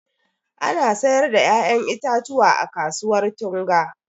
Ana sayar da ƴaƴan itatuwa a kasuwar Tunga.